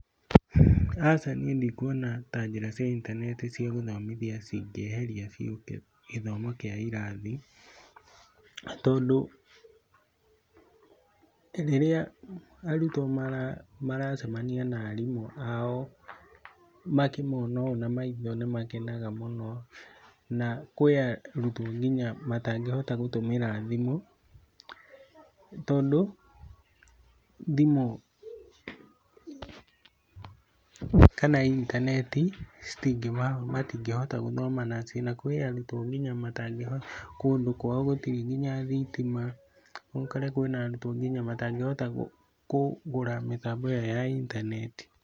Aca niĩ ndikuona ta njĩra cia intaneti cia gũthomithia cingĩeheria biũ gĩthomo kĩa irathi, tondũ rĩrĩa arutwo maracemania na arimũ ao makĩmona ũũ na maitho nĩ makenaga mũno na kwĩ arutwo nginya matangĩhota gũtũmĩra thimũ tondũ thimũ kana intaneti matingĩhota gũthoma nacio na kwĩ arutwo nginya matangĩhota, kũndũ kwao gũtirĩ nginya thitima, ũkore kwĩna arutwo nginya matangĩhota kũgũra mĩtambo yao ya intaneti.